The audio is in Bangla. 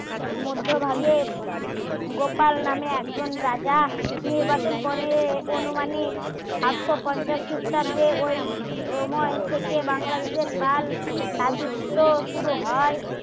মধ্যভাগে গোপাল নামে একজন রাজা নির্বাচন গনে অনুমানে সাতশো পঞ্চাশ ক্রিস্টাব্দে ওই সময় থেকে বাংলাদেশের কাল রাজত্ব শুরু হয়